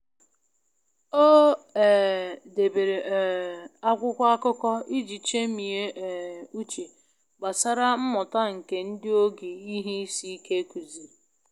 O um debere um akwụkwọ akụkọ iji chemie um uche gbasara mmuta nke ndị oge ihe isi ike kuziri.